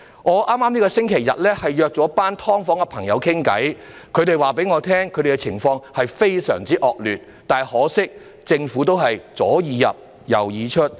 我在剛過去的星期天與一群住在"劏房"的人士閒談，他們告訴我他們的居住情況非常惡劣，但可惜，政府仍然是"左耳入，右耳出"。